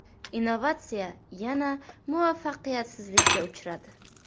Innovatsiya yana muvaffaqiyatsizlikka uchradi.